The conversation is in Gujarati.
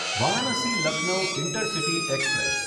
Varanasi Lucknow intercity express